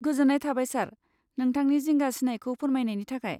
गोजोन्नाय थाबाय सार, नोंथांनि जिंगा सिनायखौ फोरमायनायनि थाखाय।